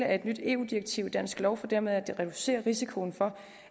af et nyt eu direktiv i dansk lov for dermed at reducere risikoen for